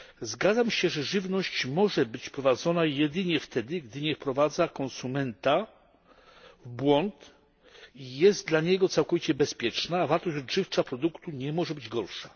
Zgadzam się, że żywność może być wprowadzona jedynie wtedy, gdy nie wprowadza konsumenta w błąd i jest dla niego całkowicie bezpieczna, a wartość odżywcza produktu nie może być gorsza.